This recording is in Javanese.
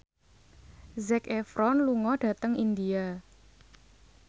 Zac Efron lunga dhateng India